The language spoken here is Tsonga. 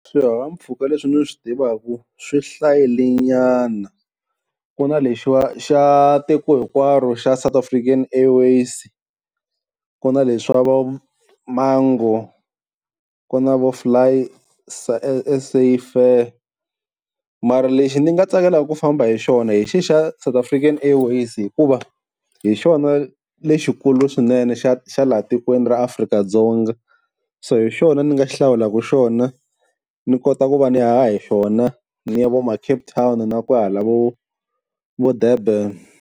Swihahampfhuka leswi ni swi tivaku swi hlayilenyana ku na lexiya xa tiko hinkwaro xa South African Airways, ku na leswi swa vo-Mango, Ku na FlySafair, mara lexi ni nga tsakelaka ku famba hi xona hi xe xa South African Airways hikuva hi xona lexikulu swinene xa xa laha tikweni ra Afrika-Dzonga, so hi xona ni nga hlawulaka xona ni kota ku va ni haha hi xona ni ya vo ma-Cape Town na kwahala vo vo Durban.